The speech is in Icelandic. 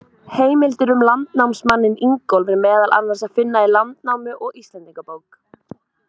Heimildir um landnámsmanninn Ingólf er meðal annars að finna í Landnámu og Íslendingabók.